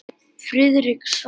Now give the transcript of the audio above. Friðrik svaraði ekki.